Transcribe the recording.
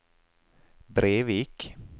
Brevik